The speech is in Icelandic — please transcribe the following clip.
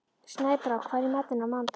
Snæbrá, hvað er í matinn á mánudaginn?